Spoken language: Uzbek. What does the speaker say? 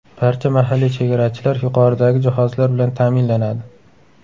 Barcha mahalliy chegarachilar yuqoridagi jihozlar bilan ta’minlanadi.